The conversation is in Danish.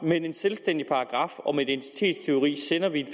med en selvstændig paragraf om identitetstyveri kan vi